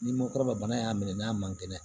Ni mɔkɔrɔba bana y'a minɛ n'a man kɛnɛ